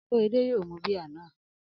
Akorede yóò mu bíà náà